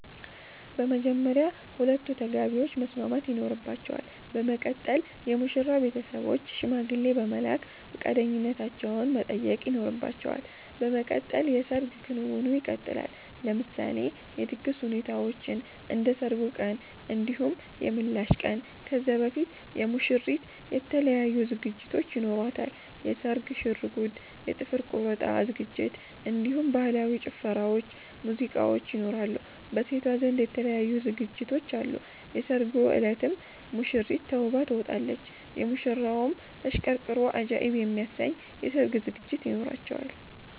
በመጀመርያ ሁለቱ ተጋቢዎች መስማማት ይኖርባቸል በመቀጠል የሙሽራዉ ቤተሰቦች ሽማግሌ በመላክ ፈቃደኛነታቸዉን መጠየቅ ይኖርባቸዋል በመቀጠል የሰርግ ክንዉኑ ይቀጥላል። ለምሳሌ የድግስ ሁኔታዎችን እንደ ሰርጉ ቀን እንዲሁም የምላሽ ቀን ከዛ በፊት የሙሽሪት የተለያዩ ዝግጅቶች ይኖሯታል የስርግ ሽርጉድ የ ጥፍር ቆረጣ ዝግጅት እንዲሁም በህላዊ ጭፈራዎች ሙዚቃዎች ይኖራሉ። በሴቷ ዘንድ የተለያዩ ዝግጅቶች አሉ የሰርጉ እለትም ሙሽሪት ተዉባ ትወጣለች። ሙሽራዉም ተሽቀርቅሮ አጃኢብ የሚያሰኝ የሰርግ ዝግጅት ይኖራቸዋል